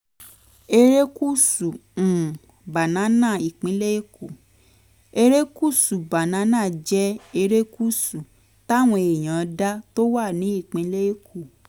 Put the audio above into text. erékùṣù um banana ìpínlẹ̀ èkó: erékùṣù banana jẹ erékùṣù táwọn èèyàn dá tó wà ní ìpínlẹ̀ èkó